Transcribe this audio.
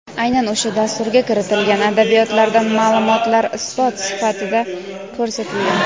aynan o‘sha dasturga kiritilgan adabiyotlardan maʼlumotlar isbot sifatida ko‘rsatilgan.